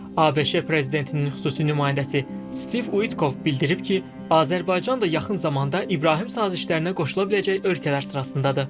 ABŞ prezidentinin xüsusi nümayəndəsi Stiv Uikov bildirib ki, Azərbaycan da yaxın zamanda İbrahim sazişlərinə qoşula biləcək ölkələr sırasındadır.